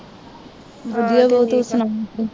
ਵਧੀਆ ਬਾਊ ਤੂੰ ਸੁਣਾ